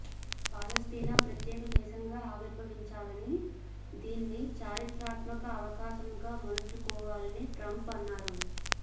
పాలస్తీనా ప్రత్యేక దేశంగా ఆవిర్భవించాలని దీన్ని చారిత్రాత్మక అవకాశంగా మలుచుకోవాలని ట్రంప్ అన్నారు